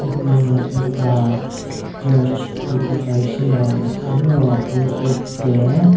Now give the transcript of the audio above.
etu ekta church dekhi baishe aro pulpit de.